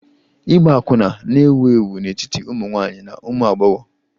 Ịgba akwụna na-ewu ewu n'etiti ụmụ nwanyị na ụmụ agbọghọ